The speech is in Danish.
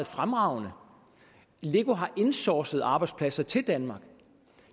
fremragende lego har insourcet arbejdspladser til danmark